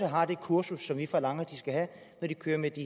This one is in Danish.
har det kursus som vi forlanger at de skal have når de kører med de